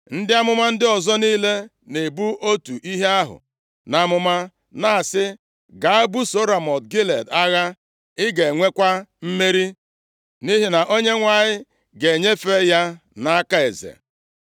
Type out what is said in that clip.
Ndị amụma ndị ọzọ niile na-ebu otu ihe ahụ nʼamụma, na-asị, “Gaa, busoo Ramọt Gilead agha, ị ga-enwekwa mmeri, nʼihi na Onyenwe anyị ga-enyefe ya nʼaka eze.”